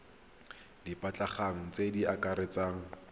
di batlegang tse di akaretsang